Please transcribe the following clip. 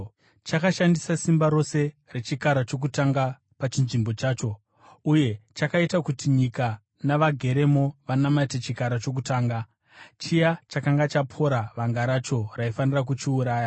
Chakashandisa simba rose rechikara chokutanga pachinzvimbo chacho, uye chakaita kuti nyika navageremo vanamate chikara chokutanga, chiya chakanga chapora vanga racho raifanira kuchiuraya.